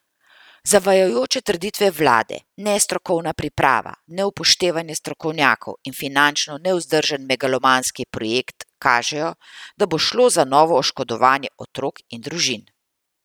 Zavajajoče trditve vlade, nestrokovna priprava, neupoštevanje strokovnjakov in finančno nevzdržen megalomanski projekt, kažejo, da bo šlo za novo oškodovanje otrok in družin.